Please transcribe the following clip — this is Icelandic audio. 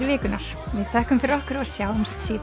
vikunnar við þökkum fyrir okkur og sjáumst síðar